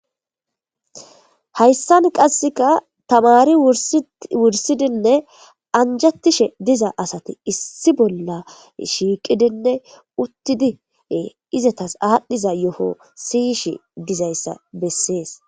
Hayssan qassika tamaari wurssidinne anjjetishe diza asati iisi bolla shiiqidinne uttidi izetas aadhdhiza yoho siyishe de'izayssa besses.